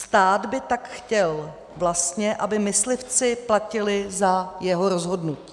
Stát by tak chtěl vlastně, aby myslivci platili za jeho rozhodnutí.